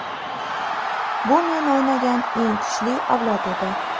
Bu men o‘ynagan eng kuchli avlod edi.